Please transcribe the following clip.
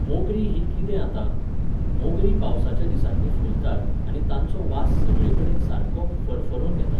मोगरीं हीं कितें आतां? मोगरीं पावसाच्या दिसांनी फुलतात आनी तांचो वास सगळेकडेन सारको फरफरोन येता.